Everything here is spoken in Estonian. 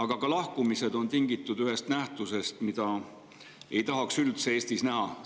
… ja ka lahkumised on tingitud ühest nähtusest, mida ei tahaks üldse Eestis näha.